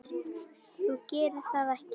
Þú gerir það ekki!